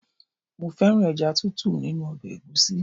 Mo fẹ́ràn ẹja Títù nínú ọbẹ̀ egusi.